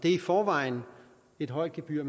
er i forvejen et højt gebyr